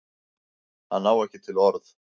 Hann á ekki til orð.